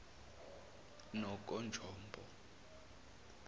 nononjombo